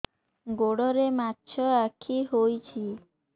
ଗୋଡ଼ରେ ମାଛଆଖି ହୋଇଛି